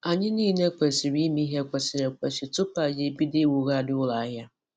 Anyị niile kwesịrị ime ihe kwesịrị ekwesị tupu anyị ebido iwugharị ụlọ ahịa.